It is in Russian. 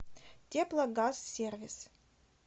теплогазсервис